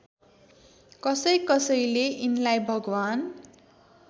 कसैकसैले यिनलाई भगवान्